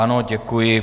Ano, děkuji.